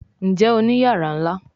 Njé Òní iyàrá nlá?